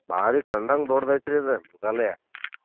ಬಾರೀ ಕಂಡಂಗ್ ದೊಡ್ಡದೈತ್ರಿ ಇದು ಮೃಗಾಲಯ .